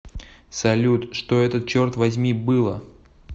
салют что это черт возьми было